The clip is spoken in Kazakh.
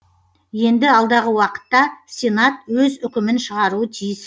енді алдағы уақытта сенат өз үкімін шығаруы тиіс